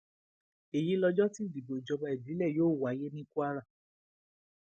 èyí lọjọ tí ìdìbò ìjọba ìbílẹ yóò wáyé ní kwara